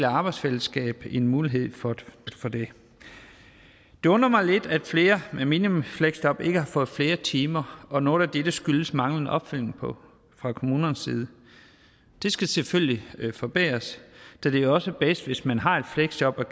arbejdsfællesskab en mulighed for det det undrer mig lidt at flere med minifleksjob ikke har fået flere timer og noget af dette skyldes manglende opfølgning fra kommunernes side det skal selvfølgelig forbedres da det jo også er bedst hvis man har et fleksjob og